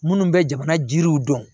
Minnu bɛ jamana jiriw dɔn